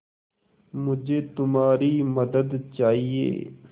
मुझे तुम्हारी मदद चाहिये